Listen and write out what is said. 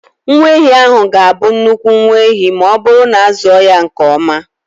Nwa ehi ahụ ga-abụ nnukwu nwa ehi ma ọ bụrụ na a zụọ ya nke ọma.